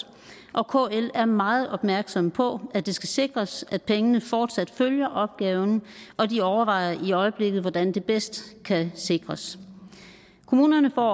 og kl er meget opmærksom på at det skal sikres at pengene fortsat følger opgaven og de overvejer i øjeblikket hvordan det bedst kan sikres kommunerne får